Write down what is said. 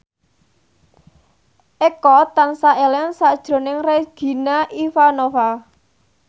Eko tansah eling sakjroning Regina Ivanova